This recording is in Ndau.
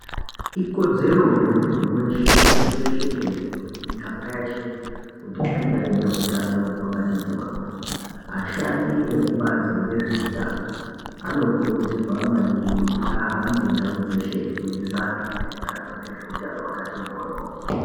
Ikodzero yemunthu weshe pashi reshe tenderere mumiganga yeshe kuti ange ane utano hwakati moryo ashandi ekubazi rezveutano anokurudzirwa maningi kuti ahambe ndau dzeshe eifundisa vanthu maererano ngezveutano hwakati moryo.